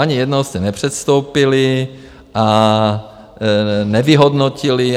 Ani jednou jste nepředstoupili a nevyhodnotili.